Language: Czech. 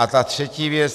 A ta třetí věc.